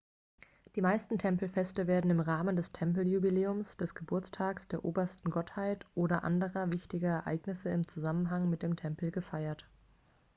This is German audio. die meisten tempelfeste werden im rahmen des tempeljubiläums des geburtstags der obersten gottheit oder anderer wichtiger ereignisse im zusammenhang mit dem tempel gefeiert